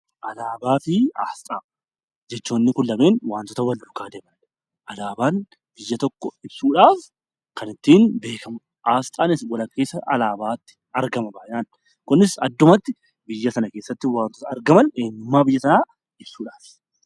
Alaabaa fi asxaan jechoonni kun lamaan wantoota wal fakkaatanidha. Alaabaan biyya tokko ibuushaaf kan ittiin beekamu asxaan walakkeessa alaabaatti argama. Kunis addumatti wantoota biyya sanaa ibsuudhaafi.